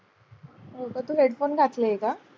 तू headphone घातले आहे का?